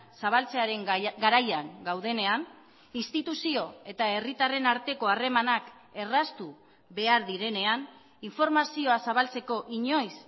zabaltzearen garaian gaudenean instituzio eta herritarren arteko harremanak erraztu behar direnean informazioa zabaltzeko inoiz